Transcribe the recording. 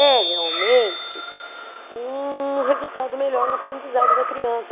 É realmente um resultado melhor no aprendizado da criança.